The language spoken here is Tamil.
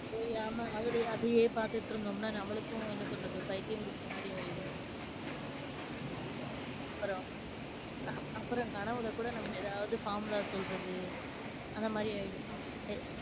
ஓ ஆமாங்க அதுலயே அதையே பார்த்துட்டிருந்தோம்னா நம்மளுக்கும், என்ன சொல்றது? பைத்தியம் பிடிச்ச மாதிரி ஆயிடும். அப்பறம்? அப்பறம் கனவுல கூட நம்ம ஏதாவது formula சொல்றது, அந்த மாதிரி ஆயிடும். எ~